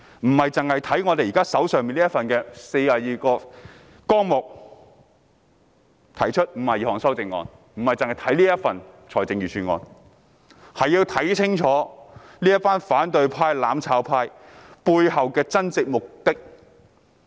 我們要看的不僅是就這42個總目提出的52項修正案或這份預算案，更要看清楚這些反對派、"攬炒派"背後的真正目的。